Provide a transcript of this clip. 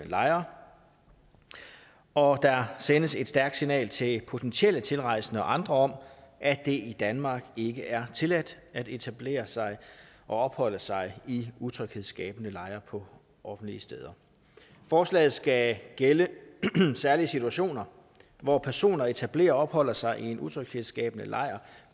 lejre og der sendes et stærkt signal til potentielle tilrejsende og andre om at det i danmark ikke er tilladt at etablere sig og opholde sig i utryghedsskabende lejre på offentlige steder forslaget skal gælde i særlige situationer hvor personer etablerer og opholder sig i en utryghedsskabende lejr